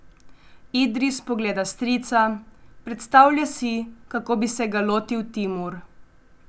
Idris pogleda strica, predstavlja si, kako bi se ga lotil Timur.